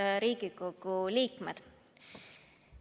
Head Riigikogu liikmed!